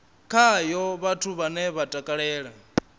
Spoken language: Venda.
khayo vhathu vhane vha takalela